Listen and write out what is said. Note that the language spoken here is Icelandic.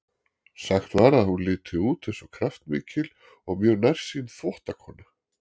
Sagt var að hún liti út eins og kraftmikil og mjög nærsýn þvottakona.